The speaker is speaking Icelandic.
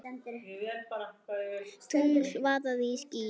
Tungl vaðandi í skýjum.